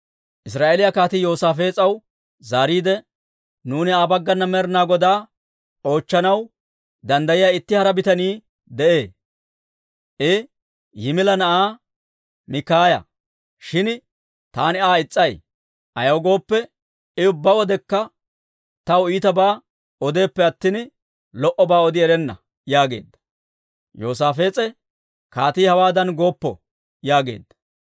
Israa'eeliyaa kaatii Yoosaafees'aw zaariide, «Nuuni Aa baggana Med'inaa Godaa oochchanaw danddayiyaa itti hara bitanii de'ee; I Yimila na'aa Mikaaya. Shin taani Aa is's'ay; ayaw gooppe, I ubbaa wodekka tawaa iitabaa odeeppe attina, lo"obaa odi erenna» yaageedda. Yoosaafees'e, «Kaatii hewaadan gooppo!» yaageedda.